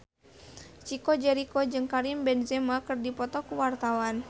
Chico Jericho jeung Karim Benzema keur dipoto ku wartawan